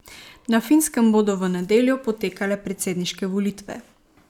Na Finskem bodo v nedeljo potekale predsedniške volitve.